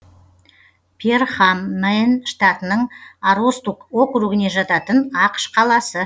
перхам мэн штатының аростук округіне жататын ақш қаласы